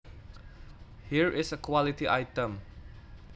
Here is a quality item